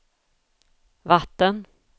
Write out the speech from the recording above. vatten